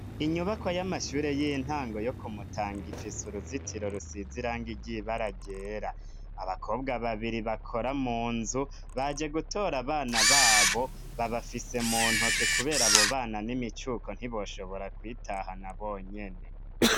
Inyubako y'amashuri y'intango yo ku Mutanga ifisa uruzitiro rusize irangi ryi baragera abakobwa babiri bakora mu nzu bajye gutora abana babo babafise mu ntoke kubera abo bana n'imicuko ntiboshobora kwitaha na bonyene.